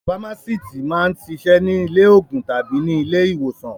Fámásíítì máa ń ṣiṣẹ́ ní ilé-òògùn tàbí ní ilé-ìwòsàn.